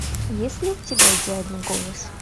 есть ли у тебя идеальный голос